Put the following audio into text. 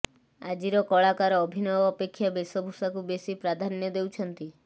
ଆଜିର କଳାକାର ଅଭିନୟ ଅପେକ୍ଷା ବେଶଭୂଷାକୁ ବେଶି ପ୍ରାଧାନ୍ୟ ଦେଉଛନ୍ତି